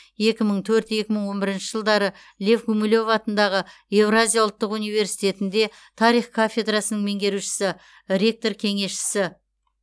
екі мың төрт екі мың он бірінші жылдары лев гумилев атындағы еуразия ұлттық университетінде тарих кафедрасының меңгерушісі ректор кеңесшісі